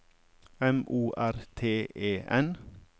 M O R T E N